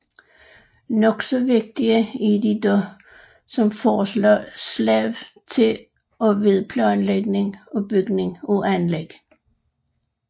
Nok så vigtige er de dog som forslag til og ved planlægning og bygning af anlæg